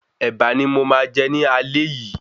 Èbà ni mo máa jẹ ní aalé yìí